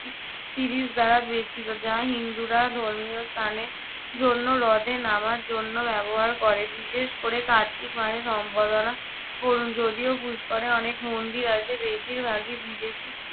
দ্বারা বেষ্টিত যা হিন্দুরা ধর্মীয় স্থানে জন্য হ্রদে নামার জন্য ব্যবহার করে, বিশেষ করে কাত্তিক মাসে যদিও পুষ্করে অনেক মন্দির আছে বেশিরভাগই বিদেশী